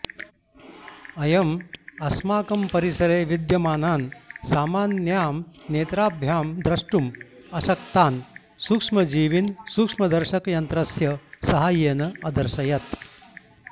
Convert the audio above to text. अयम् अस्माकं परिसरे विद्यमानान् सामान्यां नेत्राभ्यां द्रष्टुम् अशक्तान् सूक्ष्मजीवीन् सूक्ष्मदर्शकयन्त्रस्य साहाय्येन अदर्शयत्